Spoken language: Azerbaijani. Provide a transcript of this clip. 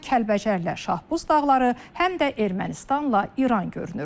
Həm Kəlbəcərlə Şahbuz dağları, həm də Ermənistanla İran görünür.